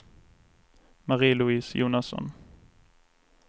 Marie-Louise Jonasson